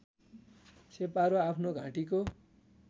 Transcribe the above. छेपारो आफ्नो घाँटीको